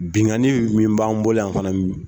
Bingani min b'an bolo yan fanani.